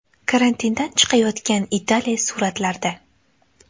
Karantindan chiqayotgan Italiya suratlarda.